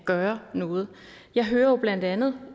gøre noget jeg hører jo blandt andet